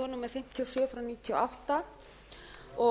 og átta